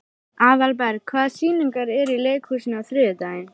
Aðalberg, hvaða sýningar eru í leikhúsinu á þriðjudaginn?